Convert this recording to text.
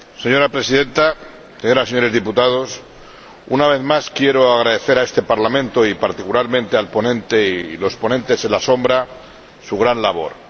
Señora Presidenta, señoras y señores diputados, una vez más quiero agradecer a este Parlamento y, particularmente, al ponente y los ponentes alternativos su gran labor.